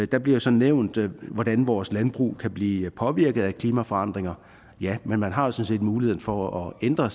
der bliver så nævnt hvordan vores landbrug kan blive påvirket af klimaforandringer ja men man har set muligheden for at ændre